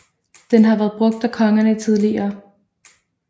Den havde været brugt af kongerne tidligere